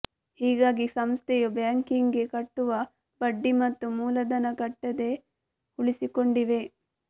ಹೀಗಾಗಿ ಸಂಸ್ಥೆಯು ಬ್ಯಾಂಕಿಗೆ ಕಟ್ಟುವ ಬಡ್ಡಿ ಮತ್ತು ಮೂಲಧನ ಕಟ್ಟದೆ ಉಳಿಸಿಕೊಂಡಿವೆ